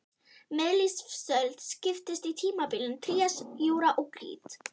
Miðlífsöld skiptist í tímabilin trías, júra og krít.